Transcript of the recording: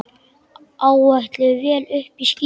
Áætluð vél uppí skýjum.